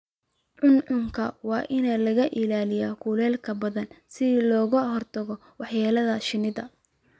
Cuncunka waa in laga ilaaliyo kulaylka ba'an si looga hortago waxyeellada shinnida.